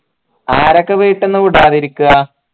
ആരൊക്കെ വീട്ടീന്നാ വിടാതിരിക്ക